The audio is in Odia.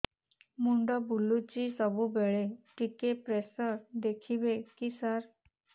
ମୁଣ୍ଡ ବୁଲୁଚି ସବୁବେଳେ ଟିକେ ପ୍ରେସର ଦେଖିବେ କି ସାର